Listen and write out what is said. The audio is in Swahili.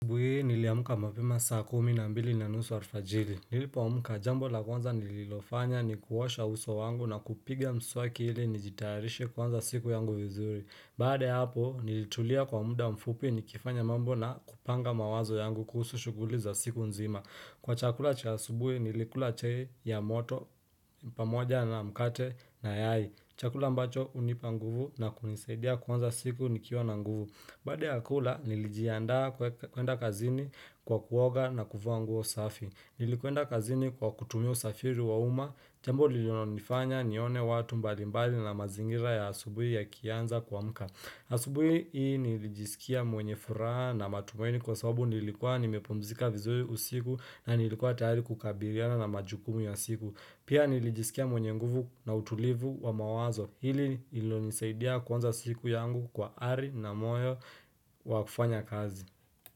Asubuhi hii niliamka mapema saa kumi na mbili na nusu alfajiri Nilipoamka jambo la kwanza nililofanya ni kuosha uso wangu na kupiga mswaki ili nijitayarishe kwanza siku yangu vizuri Baada ya hapo nilitulia kwa muda mfupi nikifanya mambo na kupanga mawazo yangu kuhusu shughuli za siku nzima Kwa chakula cha asubuhi nilikula chai ya moto pamoja na mkate na yai Chakula ambacho hunipa nguvu na kunisaidia kuanza siku nikiwa na nguvu Baada ya kula nilijianda kwenda kazini kwa kuoga na kuvaa nguo safi. Nilikwenda kazini kwa kutumia usafiri wa umma. Tembo lilonifanya nione watu mbalimbali na mazingira ya asubuhi yakianza kuamka. Asubuhi hii nilijisikia mwenye furaha na matumaini kwa sababu nilikuwa nimepumzika vizuri usiku na nilikuwa tayari kukabiliana na majukumu ya siku Pia nilijisikia mwenye nguvu na utulivu wa mawazo hili lilonisaidia kwanza siku yangu kwa ari na moyo wa kufanya kazi.